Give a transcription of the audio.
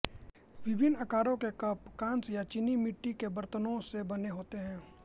विभिन्न आकारों के कप कांस्य या चीनी मिट्टी के बरतन से बने होते हैं